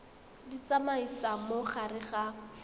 di tsamaisa mo gare ga